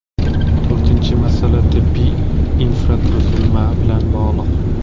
To‘rtinchi masala tibbiy infratuzilma bilan bog‘liq.